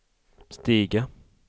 stiga